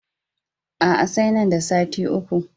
A'a, sai nan da sati uku.